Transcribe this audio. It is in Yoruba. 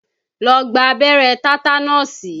Lọ gba abẹ́rẹ́ tátánọ̀sì!